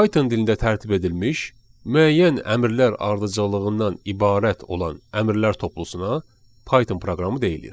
Python dilində tərtib edilmiş müəyyən əmrlər ardıcıllığından ibarət olan əmrlər toplusuna Python proqramı deyilir.